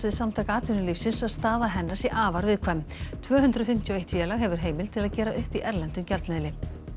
Samtaka atvinnulífsins að staða hennar sé afar viðkvæm tvö hundruð fimmtíu og eitt félag hefur heimild til að gera upp í erlendum gjaldmiðli